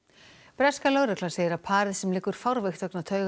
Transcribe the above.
breska lögreglan segir að parið sem liggur fárveikt vegna